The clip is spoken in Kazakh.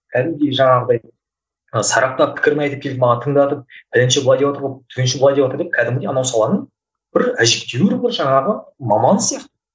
кәдімгідей жаңағыдай ы сараптап пікірін айтып келіп маған тыңдатып бірінші пәленше былай деватыр ғой түгенше былай деватыр деп кәдімгідей анау саланың бір әжептеуір бір жаңағы маманы сияқты